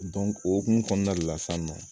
o hokumu kɔnɔna de la sisan nɔ